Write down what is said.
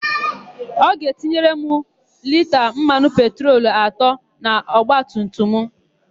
Ọ ga-etinyere m lita mmanụ petrol atọ n'ọgbatumtum mụ?